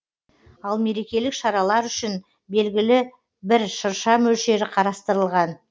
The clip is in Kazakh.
ал мерекелік шаралар үшін белгілі бір шырша мөлшері қарастырылған